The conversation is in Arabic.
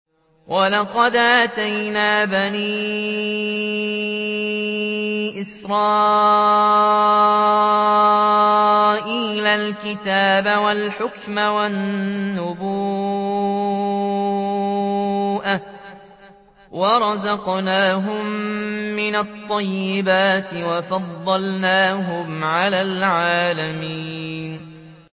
وَلَقَدْ آتَيْنَا بَنِي إِسْرَائِيلَ الْكِتَابَ وَالْحُكْمَ وَالنُّبُوَّةَ وَرَزَقْنَاهُم مِّنَ الطَّيِّبَاتِ وَفَضَّلْنَاهُمْ عَلَى الْعَالَمِينَ